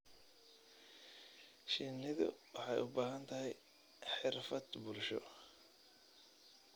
Shinnidu waxay u baahan tahay xirfad bulsho.